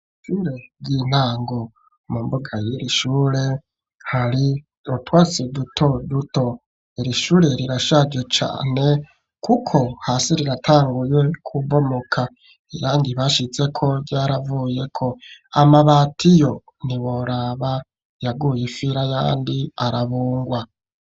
Ishure ry'intango mu mbuga yiri shure hari utwatsi duto duto iri shure rirashage cane kuko hasi riratanguye kubomoka iyandi bashizeko vyaravuye ko amabatiyo ntiworaba yaguye ifira yandi arabungwa.